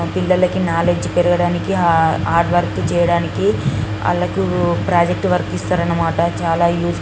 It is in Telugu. పిల్లకి కనౌలెడ్జి పెరగడానికి ఆ హార్డవర్క్ చేయడానికి వాళ్లకు ప్రాజెక్ట్ వర్క్ ఇస్తారన్నమాట. చాలా యూస్ ఫుల్ --